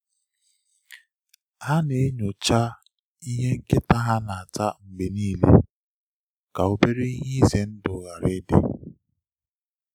Ha na-enyocha ihe nkịta ha na-ata mgbe niile ka obere ihe dị ize ndụ ghara ịdị.